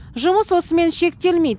жұмыс осымен шектелмейді